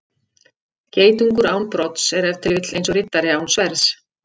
Geitungur án brodds er ef til vill eins og riddari án sverðs.